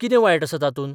कितें वायट आसा तातूंत?